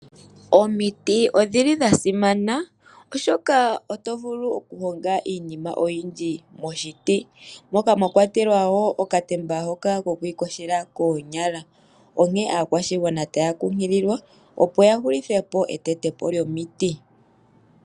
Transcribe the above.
Omiti odha simana oshoka oto vulu okuhonga iinima oyindji momuti moka mwakwatelwa okatemba kokwiiyogela koonyala. Onkene aakwashigwana taya kunkililwa, opo ya hulithepo etetepo lyomiti.